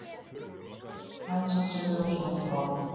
Hans Sigurjónsson frá